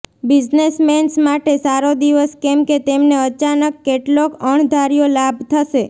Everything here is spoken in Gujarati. બિઝનેસમેન્સ માટે સારો દિવસ કેમ કે તેમને અચાનક કેટલોક અણધાર્યો લાભ થશે